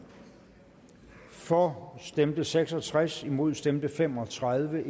for stemte seks og tres imod stemte fem og tredive